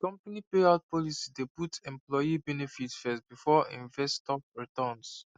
di company payout policy dey put employee benefits first before investor returns